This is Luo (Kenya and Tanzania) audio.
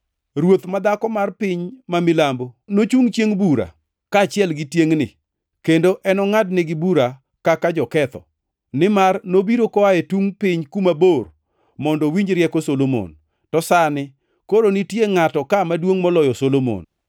Ruoth ma dhako mar piny ma milambo nochungʼ chiengʼ bura kaachiel gi tiengʼni kendo enongʼadnegi bura kaka joketho, nimar nobiro koa e tungʼ piny kuma bor mondo owinj rieko Solomon, to sani koro nitie ngʼato ka maduongʼ moloyo Solomon.